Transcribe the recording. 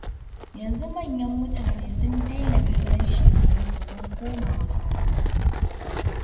Yanzu manyan mutane sun daina kallon shekarunsu, sun koma makaranta.